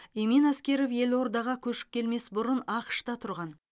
эмин аскеров елордаға көшіп келмес бұрын ақш та тұрған